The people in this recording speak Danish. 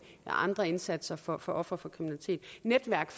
andre indsatser for for ofre for kriminalitet netværk